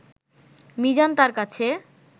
মিজান তার কাছে